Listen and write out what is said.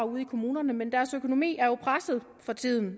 ude i kommunerne men deres økonomi er jo presset for tiden